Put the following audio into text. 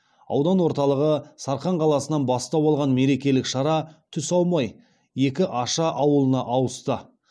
аудан орталығы сарқан қаласынан бастау алған мерекелік шара түс аумай екі аша ауылына ауысты